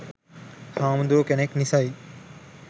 හාමුදුරු කෙනෙක් නිසයි